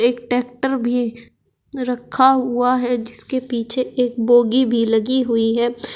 Tractor भी रखा हुआ है जिसके पीछे एक बोगी भी लगी हुई है।